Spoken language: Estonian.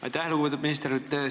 Aitäh, lugupeetud minister!